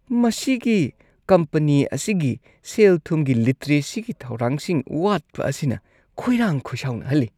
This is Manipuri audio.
ꯃꯁꯤꯒꯤ ꯀꯝꯄꯅꯤ ꯑꯁꯤꯒꯤ ꯁꯦꯜ-ꯊꯨꯝꯒꯤ ꯂꯤꯇꯔꯦꯁꯤꯒꯤ ꯊꯧꯔꯥꯡꯁꯤꯡ ꯋꯥꯠꯄ ꯑꯁꯤꯅ ꯈꯣꯏꯔꯥꯡ-ꯈꯣꯏꯁꯥꯎꯅꯍꯜꯂꯤ꯫